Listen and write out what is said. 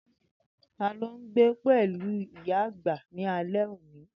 Tani o n gbe pẹlu iya agba ni alẹ oni?